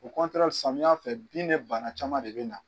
O samiyan fɛ bin ni bana caman de bɛ na.